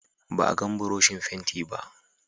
Ba a gan Buroshin fentin ba.